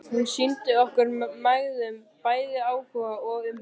Hún sýndi okkur mæðgum bæði áhuga og umhyggju.